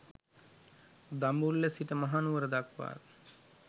දඹුල්ල සිට මහනුවර දක්වාත්